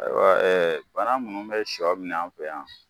Ayiwa bana munnu bɛ sɔ min'an fɛ yan